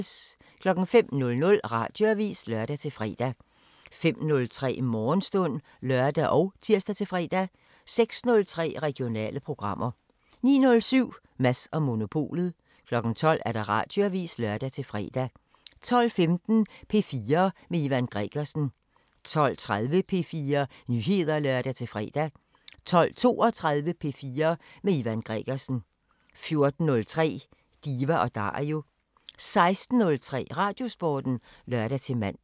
05:00: Radioavisen (lør-fre) 05:03: Morgenstund (lør og tir-fre) 06:03: Regionale programmer 09:07: Mads & Monopolet 12:00: Radioavisen (lør-fre) 12:15: P4 med Ivan Gregersen 12:30: P4 Nyheder (lør-fre) 12:32: P4 med Ivan Gregersen 14:03: Diva & Dario 16:03: Radiosporten (lør-man)